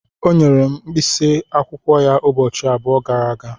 O nyere m mkpịsị akwụkwọ ya ụbọchị abụọ gara aga.